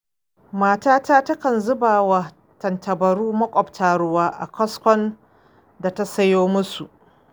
Matata takan zubawa tantabarun maƙwabta ruwa a kaskon da ta sayo musu.